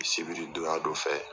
Sibiri donya dɔ fɛ